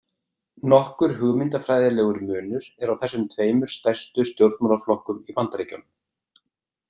Nokkur hugmyndafræðilegur munur er á þessum tveimur stærstu stjórnmálaflokkum í Bandaríkjunum.